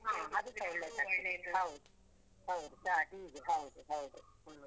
ಹೌದು ಹೌದು ಚಾ tea ಗೆ ಹೌದು ಹೌದು ಹ್ಮ್.